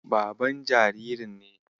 Baban jaririn ne.